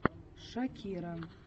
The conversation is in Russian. шакира